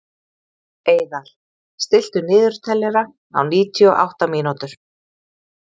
Eiðar, stilltu niðurteljara á níutíu og átta mínútur.